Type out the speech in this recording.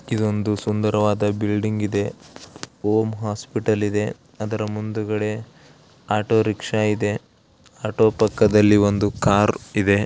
ಇದೊಂದು ಸುಂದರವಾದ ಬಿಲ್ಡಿಂಗ್ ಇದೆ ಓಂ ಹಾಸ್ಪಿಟಲ್ ಇದೆ ಅದರ ಮುಂದುಗಡೆ ಆಟೋರಿಕ್ಷಾ ಇದೆ ಆಟೋ ಪಕ್ಕದಲ್ಲಿ ಒಂದು ಕಾರ್ ಇದೆ.